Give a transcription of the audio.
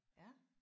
Ja